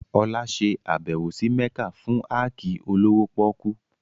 Olá ṣe àbẹ̀wò sí Mẹ́kà fún áàkì olówó pọ́kú